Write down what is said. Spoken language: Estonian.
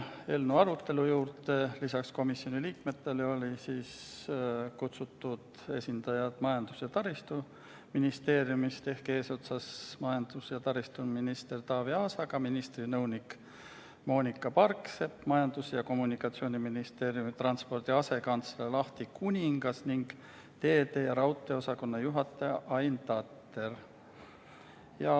Eelnõu arutelu juurde olid lisaks komisjoni liikmetele kutsutud esindajad Majandus- ja Kommunikatsiooniministeeriumist eesotsas majandus- ja taristuminister Taavi Aasaga, aga ka ministri nõunik Moonika Parksepp, Majandus- ja Kommunikatsiooniministeeriumi transpordi asekantsler Ahti Kuningas ning teede- ja raudteeosakonna juhataja Ain Tatter.